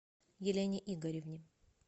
елене игоревне